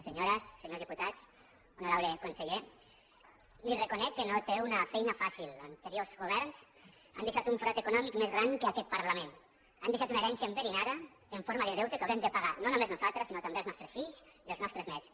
senyores senyors diputats hono·rable conseller li reconec que no té una feina fàcil an·teriors governs han deixat un forat econòmic més gran que aquest parlament han deixat una herència enve·rinada en forma de deute que haurem de pagar no no·més nosaltres sinó també els nostres fills i els nostres néts